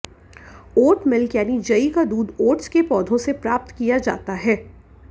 ओट milk यानि जई का दूध ओट्स के पोधों से प्राप्त किया जाता है